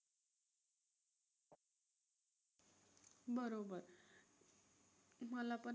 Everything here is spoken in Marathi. बरोबर. मला पण